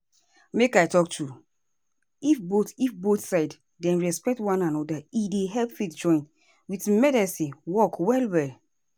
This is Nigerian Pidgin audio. make i talk true if both if both side dem respect one anoda e dey help faith join with medicine work well well.